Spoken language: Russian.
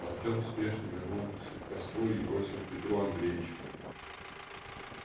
артём спешно вернулся к костру и бросил петру андреевичу